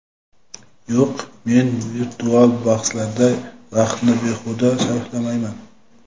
Yo‘q, men virtual bahslarda vaqtni behuda sarflamayman.